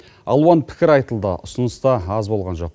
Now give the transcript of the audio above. алуан пікір айтылды ұсыныс та аз болған жоқ